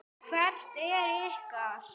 Hvert er ykkar?